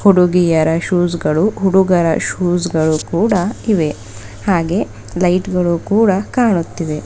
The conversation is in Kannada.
ಹುಡುಗಿಯರ ಶೂಸ್ಗಳು ಹುಡುಗರ ಶೂಸ್ಗಳು ಕೂಡ ಇವೆ ಹಾಗೆ ಲೈಟ್ ಗಳು ಕೂಡ ಕಾಣುತ್ತಿವೆ.